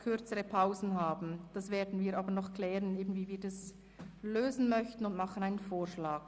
Wir klären noch mit dieser, wie wir das lösen können und unterbreiten Ihnen dann einen Vorschlag.